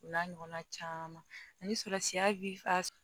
O n'a ɲɔgɔnna caman ani sɔrɔ siya bi ka